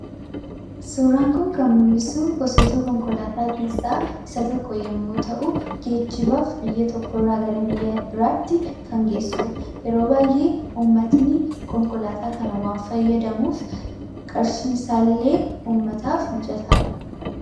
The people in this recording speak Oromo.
Suuraan kun kan mul'isu gosoota konkolaataa keessaa isa tokko yommuu ta'u, geejjibaaf biyya tokko irraa gara biyya biraatti kan geessuudha. Yeroo baay'ee uummatni konkolaataa kana waan fayyadamuuf, qarshiisaallee uummataaf mijataadha.